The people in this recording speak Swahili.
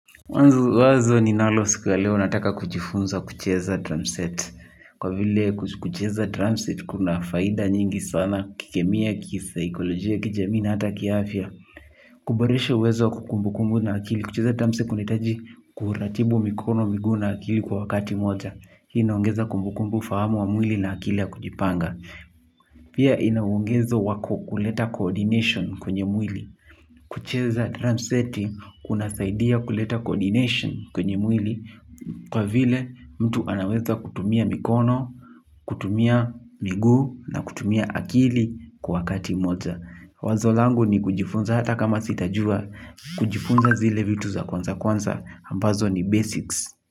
Wazo ni nalo siku ya leo nataka kujifunza kucheza tramset. Kwa vile kucheza tramset kuna faida nyingi sana kikemia, kipsycholojia, kijamina, hata kiafya. Kuboresha uwezo wa kukumbu kumbu na akili. Kucheza tramset kunaitaji kuhuratibu mikono, migu na akili kwa wakati moja. Hii inaongeza kumbu kumbu fahamu wa mwili na akili ya kujipanga. Pia inaongezo wako kuleta coordination kwenye mwili. Kucheza drum seti kuna saidia kuleta coordination kwenye mwili. Kwa vile mtu anaweza kutumia mikono, kutumia migu na kutumia akili kwa wakati moja. Wazo langu ni kujifunza hata kama sitajua. Kujifunza zile vitu za kwanza kwanza ambazo ni basics.